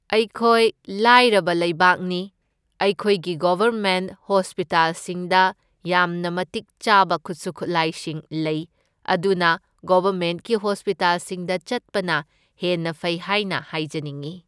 ꯑꯩꯈꯣꯏ ꯂꯥꯏꯔꯕ ꯂꯩꯕꯥꯛꯅꯤ, ꯑꯩꯈꯣꯏꯒꯤ ꯒꯣꯕꯔꯃꯦꯟꯠ ꯍꯣꯁꯄꯤꯇꯥꯜꯁꯤꯡꯗ ꯌꯥꯝꯅ ꯃꯇꯤꯛ ꯆꯥꯕ ꯈꯨꯠꯁꯨ ꯈꯨꯠꯂꯥꯏꯁꯤꯡ ꯂꯩ, ꯑꯗꯨꯅ ꯒꯣꯕꯔꯃꯦꯟꯠꯀꯤ ꯍꯣꯁꯄꯤꯇꯥꯜꯁꯤꯡꯗ ꯆꯠꯄꯅ ꯍꯦꯟꯅ ꯐꯩ ꯍꯥꯏꯅ ꯍꯥꯏꯖꯅꯤꯡꯏ꯫